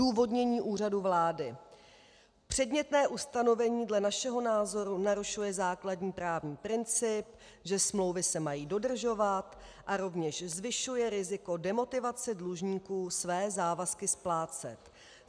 Odůvodnění Úřadu vlády: Předmětné ustanovení dle našeho názoru narušuje základní právní princip, že smlouvy se mají dodržovat, a rovněž zvyšuje riziko demotivace dlužníků své závazky splácet.